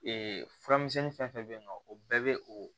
Ee furamisɛnni fɛn fɛn bɛ yen nɔ o bɛɛ bɛ o